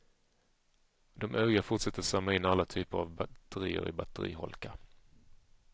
De övriga fortsätter att samla in alla typer av batterier i batteriholkar.